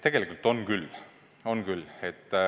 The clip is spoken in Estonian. Tegelikult on küll.